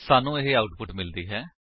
ਸਾਨੂੰ ਇਹ ਆਉਟਪੁਟ ਮਿਲਦੀ ਹੈ